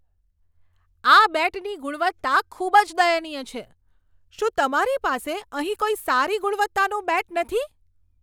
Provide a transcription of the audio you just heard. આ બેટની ગુણવત્તા ખૂબ જ દયનીય છે. શું તમારી પાસે અહીં કોઈ સારી ગુણવત્તાનું બેટ નથી?